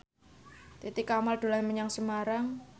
Titi Kamal dolan menyang Semarang